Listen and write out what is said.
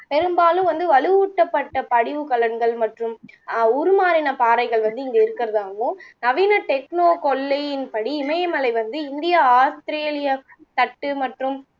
பெரும்பாலும் வந்து வலுவூட்டப்பட்ட படிவுக்களங்கள் மற்றும் அஹ் உருமாறின பாறைகள் வந்து இங்கே இருக்குறதாவும் நவீன techno கொள்ளையின்படி இமயமலை வந்து இந்திய ஆஸ்திரேலியா தட்டு மற்றும்